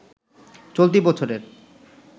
চলতি বছরের